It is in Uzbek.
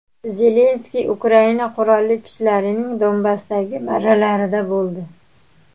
Zelenskiy Ukraina qurolli kuchlarining Donbassdagi marralarida bo‘ldi.